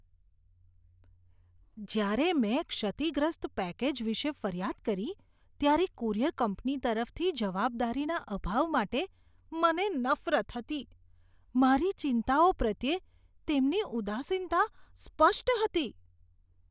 જ્યારે મેં ક્ષતિગ્રસ્ત પેકેજ વિશે ફરિયાદ કરી ત્યારે કુરિયર કંપની તરફથી જવાબદારીના અભાવ માટે મને નફરત હતી. મારી ચિંતાઓ પ્રત્યે તેમની ઉદાસીનતા સ્પષ્ટ હતી.